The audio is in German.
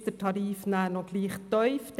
Ist der Tarif nachher noch gleich tief?